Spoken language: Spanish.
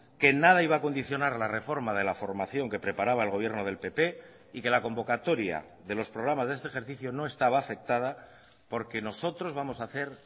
que nada iba a condicionar la reforma de la formación que preparaba el gobierno del pp y que la convocatoria de los programas de este ejercicio no estaba afectada porque nosotros vamos a hacer